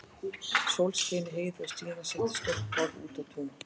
Sól skein í heiði og Stína setti stórt borð út á tún.